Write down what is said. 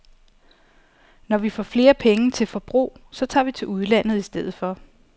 Når vi får flere penge til forbrug, så tager vi til udlandet i stedet for.